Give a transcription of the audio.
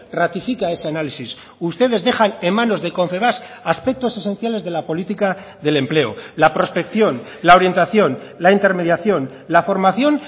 ratifica ese análisis ustedes dejan en manos de confebask aspectos esenciales de la política del empleo la prospección la orientación la intermediación la formación